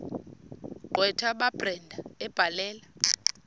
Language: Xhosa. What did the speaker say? gqwetha kabrenda ebhalela